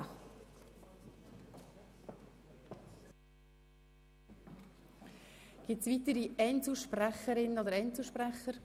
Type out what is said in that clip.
Es gibt keine weiteren Einzelsprecherinnen und Einzelsprecher.